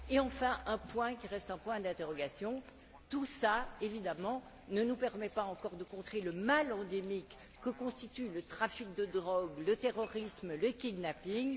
bas. Enfin, un point qui reste un point d'interrogation tout cela ne nous permet pas encore de contrer le mal endémique que constituent le trafic de drogue, le terrorisme et le kidnapping.